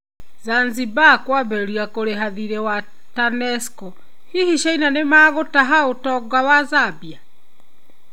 Zanzibar kũambĩrĩria kũrĩha thirĩ wa TANESCO, hihi China nĩ ĩgũtaha ũtonga wa Zambia?